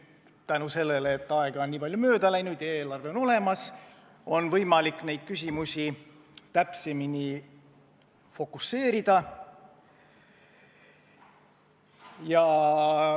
Tänu sellele, et aega on nii palju mööda läinud ja eelarve on olemas, on võimalik neid küsimusi nüüd täpsemini fookustada.